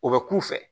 O bɛ k'u fɛ